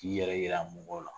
K'i yɛrɛ yira mɔgɔw la